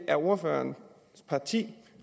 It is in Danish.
er ordførerens parti